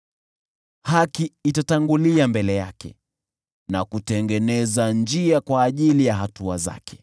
Haki itatangulia mbele yake na kutengeneza njia kwa ajili ya hatua zake.